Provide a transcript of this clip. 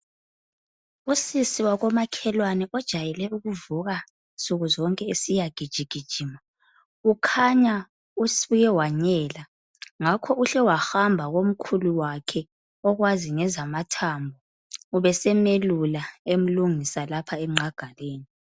Usisi wakomakhelwane ojayele ukuvuka nsukuzonke esiyagijigijima kukhanya usuke wanyela ngakho uhle wahamba komkhulu wakhe okwazi ngezathambo. Ubesemelule emlungisa lapha enqagaleni.